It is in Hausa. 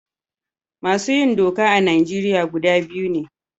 Masu yin doka a Najeriya gida biyu ne.